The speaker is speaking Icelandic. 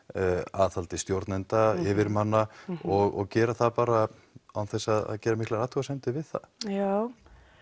aðhaldi stjórnenda yfirmanna og gera það bara án þess að gera miklar athugasemdir við það já